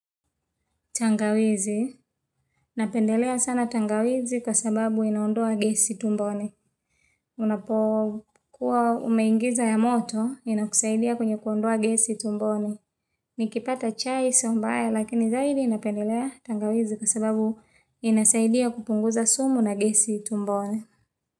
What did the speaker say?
Tangawizi. Napendelea sana tangawizi kwa sababu inaondoa gesi tumboni. Unapokuwa umeingiza ya moto inakusaidia kwenye kuondoa gesi tumboni. Nikipata chai sio mbaya lakini zaidi napendelea tangawizi kwa sababu inasaidia kupunguza sumu na gesi tumbone.